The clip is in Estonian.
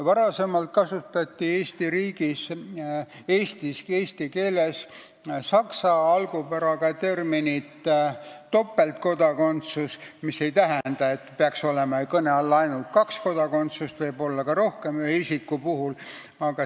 Varem kasutati Eesti riigis, eesti keeles saksa algupäraga terminit "topeltkodakondsus", mis ei tähenda, et kõne all peaks olema ainult kaks kodakondsust – neid võib olla ka rohkem ühe isiku puhul.